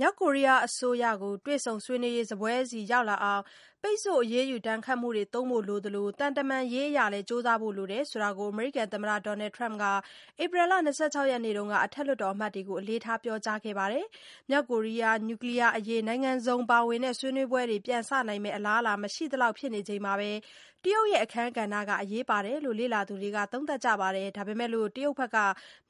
မြောက်ကိုရီးယားအစိုးရ တွေ့ဆုံဆွေးနွေးရေးစားပွဲဆီရောက်လာအောင် ပိတ်ဆို့အရေးယူဒဏ်ခတ်မှုကိုသုံးဖို့လိုသလို သံတမန်ရေးအရလည်း ကြိုးစားဖို့လိုတယ်ဆိုတာကို အမေရိကန်သမ္မတ Donald Trump က April လ ၂၆ ရက်နေ့တုန်းက အထက်လွှတ်တော်အမတ်တွေကို အလေးထားပြောကြားခဲ့ပါတယ်။ မြောက်ကိုရီးယား Nuclear အရေး နိုင်ငံစုံပါဝင်တဲ့ဆွေးနွေးပွဲတွေ ပြန်စနိုင်မယ့် အလားအလာ မရှိသလောက်ဖြစ်နေချိန်မှာ တရုတ်ရဲ့အခန်းကဏ္ဍက အရေးပါတယ်လို့ လေ့လာသူတွေက သုံးသပ်ကြပါတယ်။ ဒါပေမဲ့ တရုတ်ဘက်က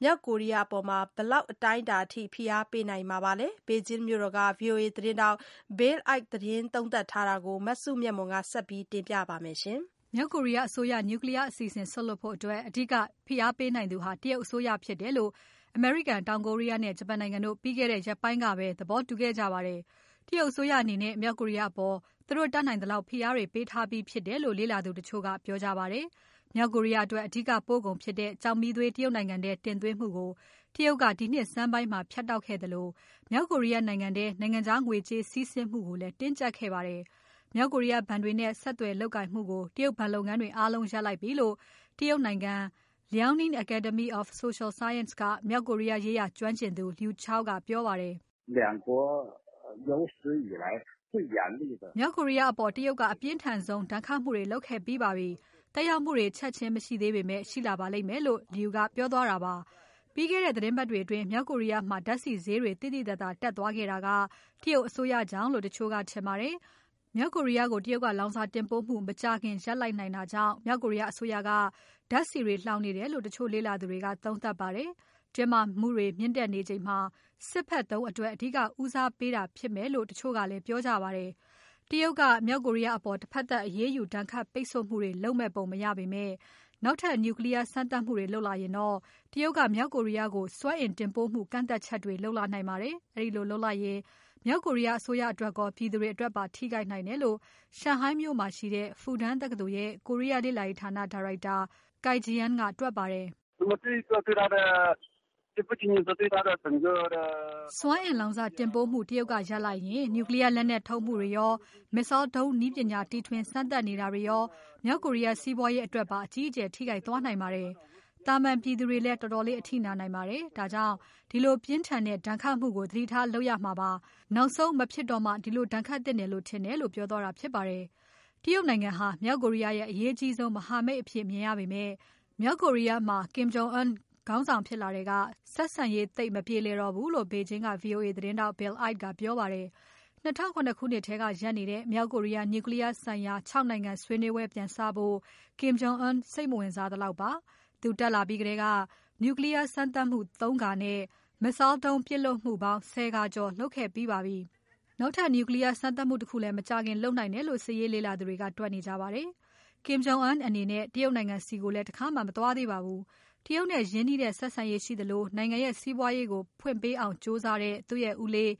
မြောက်ကိုရီးယားအပေါ် ဘယ်လောက်အတိုင်းအတာအထိဖိအားပေးနိုင်မှာပါလဲ။ ဘေဂျင်းမြို့တော်က VOA သတင်းထောက် Bill Ide သတင်းသုံးသပ်ထားတာကို မစုမြတ်မွန်က ဆက်ပြီးတင်ပြပါမယ်။ မြောက်ကိုရီးယားအစိုးရ Nuclear အစီအစဉ် စွန့်လွှတ်ဖို့အတွက် အဓိက ဖိအားပေးနိုင်သူဟာ တရုတ်အစိုးရဖြစ်တယ်လို့ အမေရိကန်၊ တောင်ကိုရီးယားနဲ့ ဂျပန်နိုင်ငံတို့ ပြီးခဲ့တဲ့ရက်ပိုင်းကပဲ သဘောတူခဲ့ကြပါတယ်။ တရုတ်အစိုးရအနေနဲ့ မြောက်ကိုရီးယားအပေါ် သူတို့တတ်နိုင်သလောက် ဖိအားတွေပေးထားပြီးဖြစ်တယ်လို့ လေ့လာသူတချို့က ပြောကြပါတယ်။ မြောက်ကိုရီးယားအတွက်အဓိကပို့ကုန်ဖြစ်တဲ့ ကျောက်မီးသွေး တရုတ်နိုင်ငံထဲတင်သွင်းမှုကို တရုတ်ကဒီနှစ်ဆန်းပိုင်းမှာ ဖြတ်တောက်ခဲ့သလို မြောက်ကိုရီးယားနိုင်ငံထဲ နိုင်ငံခြားငွေကြေးစီးဆင်းမှုကိုလည်း တင်းကြပ်ခဲ့ပါတယ်။ မြောက်ကိုရီးယားဘဏ်တွေနဲ့ ဆက်သွယ်လုပ်ကိုင်မှုကို တရုတ်ဘဏ်လုပ်ငန်းတွေအားလုံးရပ်လိုက်ပြီလို့ တရုတ်နိုင်ငံ Liaoning Academy of Social Sciences က မြောက်ကိုရီးယားရေးရာ ကျွမ်းကျင်သူ Lu Chao ကပြောပါတယ်။ "မြောက်ကိုရီးယားအပေါ် တရုတ်ကအပြင်းထန်ဆုံး ဒဏ်ခတ်မှုတွေလုပ်ခဲ့ပြီးပါတယ်။ သက်ရောက်မှုတွေ ချက်ချင်းမရှိသေးပေမဲ့ ရှိလာပါလိမ့်မယ်"လို့ Lu ကပြောသွားတာပါ။ ပြီးခဲ့တဲ့ သီတင်းပတ်တွေအတွင်း မြောက်ကိုရီးယားမှာ ဓါတ်ဆီဈေးတွေ သိသိသာသာတက်သွားခဲ့ပြီး တရုတ်အစိုးရကြောင့်လို့ တချို့ကထင်ပါတယ်။ မြောက်ကိုရီးယားကို တရုတ်ကလောင်စာတင်ပို့မှု မကြာခင်ရပ်လိုက်နိုင်တာကြောင့် မြောက်ကိုးရီးယားအစိုးရက ဓါတ်ဆီတွေလှောင်နေတယ်လို့ တချို့လေ့လာသူတွေက သုံးသပ်ပါတယ်။ တင်းမာမှုတွေမြင့်တက်နေချိန်မှာ စစ်ဖက်သုံးအတွက် အဓိကဦးစားပေးနေတာဖြစ်မယ်လို့ တချို့ကလည်း ပြောကြပါတယ်။ တရုတ်က မြောက်ကိုရီးယားအပေါ် တဖက်သတ်အရေးယူဒဏ်ခတ်ပိတ်ဆို့မှုတွေ လုပ်မဲ့ပုံမရပေမဲ့ နောက်ထပ် Nuclear စမ်းသပ်မှုတွေလုပ်လာရင်တော့ တရုတ်က မြောက်ကိုရီးယားကို စွမ်းအင်တင်ပို့မှု ကန့်သတ်ချက်တွေ လုပ်လာနိုင်ပါတယ်။ အဲဒီလိုလုပ်လိုက်ရင် မြောက်ကိုရီးယားအစိုးရအတွက်ရော ပြည်သူတွေအတွက်ပါ ထိခိုက်နိုင်တယ်လို့ ရှန်ဟိုင်းမြို့မှာရှိတဲ့ Fudan တက္ကသိုလ်ရဲ့ ကိုရီးယားလေ့လာရေးဌာန ဒါရိုက်တာ Cai Jian ကတွက်ပါတယ်။ "စွမ်းအင်လောင်စာတင်ပို့မှု တရုတ်ကရပ်လိုက်ရင် Nuclear လက်နက်ထုတ်မှုတွေရော၊ Missile ဒုံးနည်းပညာတီထွင်စမ်းသပ်နေတာတွေရော မြောက်ကိုရီးယား စီးပွားရေးအတွက်ပါ အကြီးအကျယ်ထိခိုက်သွားနိုင်ပါတယ်။ သာမန်ပြည်သူတွေလည်း တော်တော်အထိနာနိုင်ပါတယ်။ ဒါကြောင့် ဒီလိုပြင်းထန်တဲ့ ဒဏ်ခတ်မှုတွေကို သတိထားလုပ်ရမှာပါ။ နောက်ဆုံးမဖြစ်တော့မှ ဒီလိုဒဏ်ခတ်သင့်တယ်ထင်တယ်"လို့ ပြောသွားတာဖြစ်ပါတယ်။ တရုတ်နိုင်ငံဟာ မြောက်ကိုရီးယားရဲ့ အရေးအကြီးဆုံး မဟာမိတ်အဖြစ်မြင်ရပေမဲ့ မြောက်ကိုရီးယားမှာ Kim Jong Un ခေါင်းဆောင်ဖြစ်လာထဲက ဆက်ဆံရေးသိပ်မပြေလည်တော့ဘူးလို့ ဘေဂျင်းက VOA သတင်းထောက် Bill Ide ကပြောပါတယ်။ ၂၀၀၇ ခုနှစ်ထဲကရပ်နေတဲ့ မြောက်ကိုရီးယား Nuclear ဆိုင်ရာ ၆ နိုင်ငံဆွေးနွေးပွဲပြန်စဖို့ Kim Jong Un ကစိတ်မဝင်စားသလောက်ပါ။ သူတက်လာပြီးထဲက Nuclear စမ်းသပ်မှု ၃ ခါနဲ့ Missile ဒုံးပစ်လွှတ်မှုပေါင်း ၁၀ ခါကျော်လုပ်ခဲ့ပြီးပါပြီ။ နောက်ထပ် Nuclear စမ်းသပ်မှုတခုလည်း မကြာခင်လုပ်နိုင်တယ်လို့ စစ်ရေးလေ့လာသူတွေက တွက်နေကြပါတယ်။ Kim Jong Un အနေနဲ့ တရုတ်နိုင်ငံဆီကိုလည်း တခါမှ မသွားသေးပါဘူး။ တရုတ်နဲ့ရင်းနှီးတဲ့ဆက်ဆံရေးရှိသလို နိုင်ငံရဲ့ စီးပွားရေးကိုဖွင့်ပေးအောင်ကြိုးစားတဲ့ သူ့ရဲ့ဦးလေး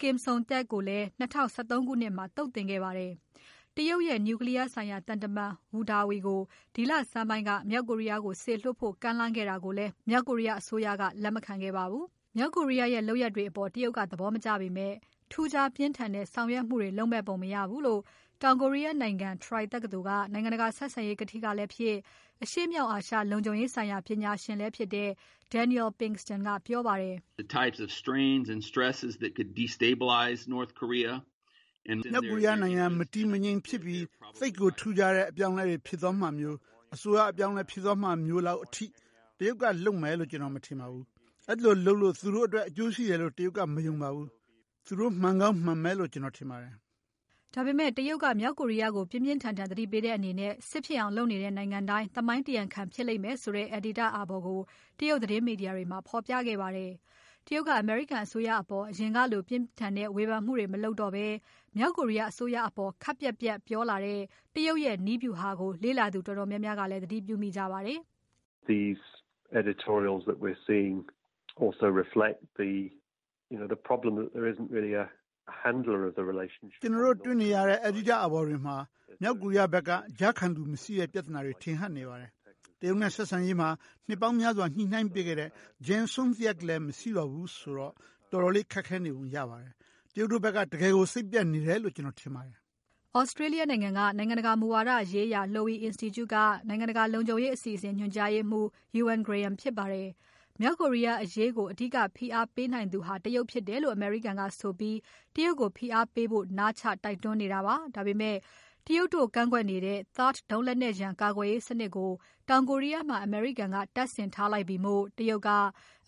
Kim Song Thaek ကိုလည်း ၂၀၁၃ ခုနှစ်မှာ သုတ်သင်ခဲ့ပါတယ်။ တရုတ်ရဲ့ Nuclear ဆိုင်ရာသံတမန် Wu Dawei ကို ဒီလဆန်းပိုင်းက မြောက်ကိုရီးယားကို စေလွှတ်ဖို့ကမ်းလှမ်းခဲ့တာကိုလည်း မြောက်ကိုရီးယားအစိုးရက လက်မခံခဲ့ပါဘူး။ မြောက်ကိုရီးယားရဲ့ လုပ်ရပ်တွေအပေါ် တရုတ်ကသဘောမကျပေမဲ့ ထူးခြားပြင်းထန်တဲ့ဆောင်ရွက်မှုတွေလုပ်မယ်ပုံမရဘူးလို့ တောင်ကိုရီးယားနိုင်ငံ Troy တက္ကသိုလ်က နိုင်ငံတကာဆက်ဆံရေးကထိကလည်းဖြစ် အရှေ့မြောက်အာရှလုံခြုံရေးဆိုင်ရာ ပညာရှင်လည်းဖြစ်တဲ့ Daniel Pinkston ကပြောပါတယ်။ "မြောက်ကိုရီးယားနိုင်ငံ မတည်မငြိမ်ဖြစ်ပြီး သိပ်ကိုထူးခြားတဲ့အပြောင်းအလဲတွေဖြစ်သွားမှာမျိုး အစိုးရအပြောင်းအလဲဖြစ်သွားမှာမျိုးလောက်အထိ တရုတ်ကလုပ်မယ်လို့ ကျွန်တော်မမြင်ပါဘူး။ အဲဒီလိုလုပ်လို့ သူတို့အတွက် အကျိုးရှိတယ်လို့ တရုတ်က မယုံပါဘူး။ သူတို့မှန်ကောင်းမှန်မယ်လို့ ကျွန်တော်ထင်ပါတယ်။" ဒါပေမဲ့ တရုတ်က မြောက်ကိုရီးယားကို ပြင်းပြင်းထန်ထန်သတိပေးတဲ့အနေနဲ့ စစ်ဖြစ်အောင်လုပ်နေတဲ့နိုင်ငံတိုင်း သမိုင်းတရားခံဖြစ်လိမ့်မယ်ဆိုတဲ့ အယ်ဒီတာ့အာဘော်ကို တရုတ်သတင်းမီဒီယာတွေထဲမှာ ဖော်ပြခဲ့ပါတယ်။ တရုတ်က အမေရိကန်အစိုးရအပေါ် အရင်ကလို ပြင်းထန်တဲ့ဝေဖန်မှုတွေ မလုပ်တော့ဘဲ မြောက်ကိုရီးယားအစိုးရအပေါ် ခပ်ပြတ်ပြတ်ပြောလာတဲ့ တရုတ်ရဲ့နည်းဗျူဟာကို လေ့လာသူတော်တော်များများက သတိပြုမိကြပါတယ်။ "ကျွန်တော်တို့တေ့ွနေရတဲ့ အယ်ဒီတာ့အာဘော်တွေမှာ မြောက်ကိုရီးယားဖက်က ကြားခံလူမရှိတဲ့ပြဿနာတွေ ထင်ဟပ်နေပါတယ်။ တရုတ်နဲ့ဆက်ဆံရေးမှာ နှစ်ပေါင်းများစွာ ညှိုနှိုင်းပေးခဲ့တဲ့ Jang Song Thaek လည်းမရှိတော့ဘူးဆိုတော့ တော်တော်လေးခက်နေပုံရပါတယ်။ တရုတ်တို့ဖက်က တကယ်ကို စိတ်ပျက်နေတယ်လို့ ကျွန်တော်ထင်ပါတယ်။" Australia နိုင်ငံက နိုင်ငံတကာမူဝါဒရေးရာ Lowy Institute က နိုင်ငံတကာလုံခြုံရေးအစီအစဉ်ညွှန်ကြားရေးမှူး Euan Graham ဖြစ်ပါတယ်။ မြောက်ကိုရီးယားအရေးကို အဓိကဖိအားပေးနိုင်သူဟာ တရုတ်ဖြစ်တယ်လို့ အမေရိကန်ကဆိုပြီး တရုတ်ကိုဖိအားပေးဖို့ နားချတိုက်တွန်းနေပါတယ်။ ဒါပေမဲ့ တရုတ်တို့ကန့်ကွက်နေတဲ့ THAAD ဒုံးလက်နက်ရန် ကာကွယ်ရေးစနစ်ကို တောင်ကိုရီးယားမှာ အမေရိကန်က တပ်ဆင်ထားလိုက်ပြီမို့ တရုတ်က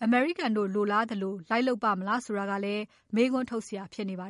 အမေရိကန်တို့လိုလားသလို လိုက်လုပ်ပါ့မလားဆိုတာကလည်း မေးခွန်းထုတ်စရာဖြစ်နေပါ